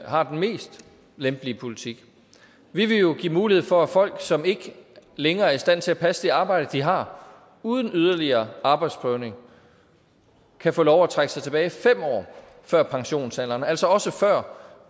har den mest lempelige politik vi vil jo give mulighed for at folk som ikke længere er i stand til at passe det arbejde de har uden yderligere arbejdsprøvning kan få lov at trække sig tilbage fem år før pensionsalderen altså også før